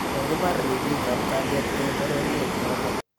Kokipar ripik ap kaliet eng poryet notok